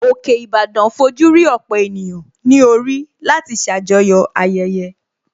Òkè Ìbàdàn fojú rí ọ̀pọ̀ ènìyàn ní orí láti ṣàjọyọ̀ ayẹyẹ